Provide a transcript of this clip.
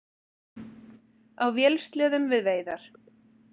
Á vélsleðum við veiðar